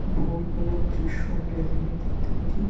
ভোর বেলার দৃশ্য আমরা এখানে দেখতে পারি --